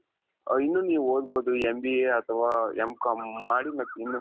ಇನ್ನು ನೀವು ಓದಬಹುದು MBAಅಥವ M.com ಮಾಡಿ ಮತ್ತಿನ್ನು